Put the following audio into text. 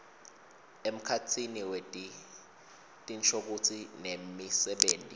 emkhatsini wetinshokutsi nemisebenti